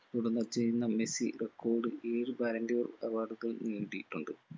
പ്പെടുന്ന ചെയ്യുന്ന Messi record ഏഴ് ballon d 'or award കൾ നേടിയിട്ടുണ്ട്